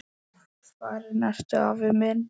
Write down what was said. Farinn ertu, afi minn.